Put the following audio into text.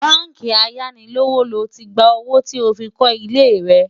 bánkì ayánilówókọ́lé ló tí gbà owó tí ọ fí kò ilé rè